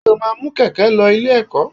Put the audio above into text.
Ṣé o máa mú Kíkẹ́ lọ Ilé-ẹ̀kọ́?